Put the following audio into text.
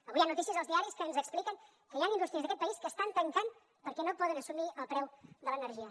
avui hi ha notícies als diaris que ens expliquen que hi han indústries d’aquest país que estan tancant perquè no poden assumir el preu de l’energia